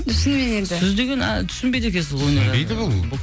шынымен енді сіз деген түсінбейді екенсіз түсінбейді бұл